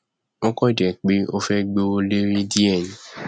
ó kàn jẹ pé ó fẹ gbówó lérí díẹ